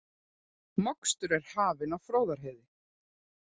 Mokstur er hafinn á Fróðárheiði